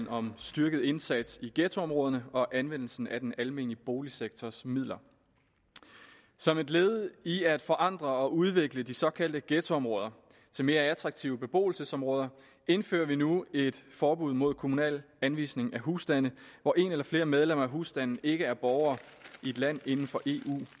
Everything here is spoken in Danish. om styrket indsats i ghettoområderne og anvendelsen af den almene boligsektors midler som et led i at forandre og udvikle de såkaldte ghettoområder til mere attraktive beboelsesområder indfører vi nu et forbud mod kommunal anvisning af husstande hvor en eller flere medlemmer af husstanden ikke er borgere i et land inden for eu